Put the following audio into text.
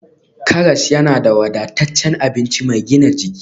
Karas yana da wadataccen abinci mai gina jiki